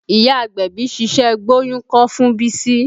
Ìyá agbẹ̀bí ṣiṣẹ́ gbóyún kọ́ fún Bísí